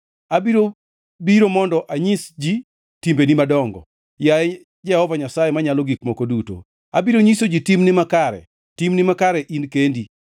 Abiro biro mondo anyis ji timbeni madongo, yaye Jehova Nyasaye Manyalo Gik Moko Duto; abiro nyiso ji timni makare, timni makare in kendi.